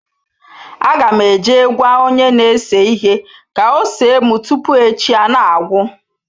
Agam eje gwa onye na ese ihe ka ose m tupu echi a na-agwu.